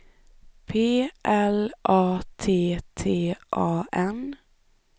P L A T T A N